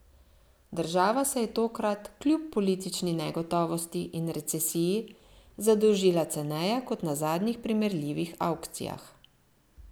Država se je tokrat kljub politični negotovosti in recesiji zadolžila ceneje kot na zadnjih primerljivih avkcijah.